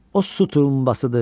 O su turumbasıdır.